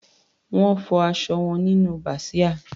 Wọ́n fọ aṣọ wọn nínú bàsíà.